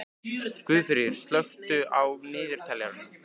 Guðfríður, slökktu á niðurteljaranum.